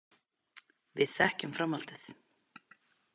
Við þekkjum framhaldið.